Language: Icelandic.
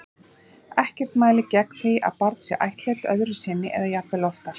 Ekkert mælir gegn því að barn sé ættleitt öðru sinni eða jafnvel oftar.